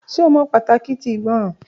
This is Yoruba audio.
Ṣe o mọ pataki ti igbọràn.